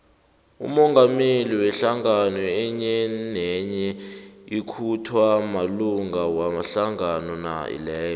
umongameli wehlangano enyenenye ukhethwa malunga wehlangano leyo